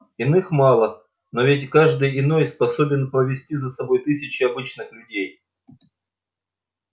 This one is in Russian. иных мало но ведь каждый иной способен повести за собой тысячи обычных людей